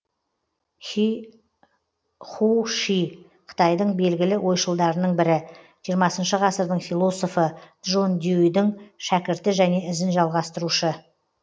ху ши қытайдың белгілі ойшылдарының бірі жиырмасыншы ғасырдың философы джон дьюдің шәкірті және ізін жалғастырушы